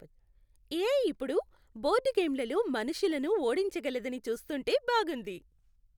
AI ఇప్పుడు board గేమ్లలో మనుషులను ఓడించగలదని చూస్తుంటే బాగుంది.